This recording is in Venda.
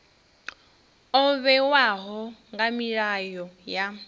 o vhewaho nga milayo ya